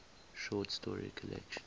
short story collection